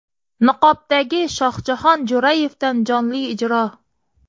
Niqobdagi Shohjahon Jo‘rayevdan jonli ijro.